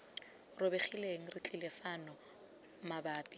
robegileng re tlile fano mabapi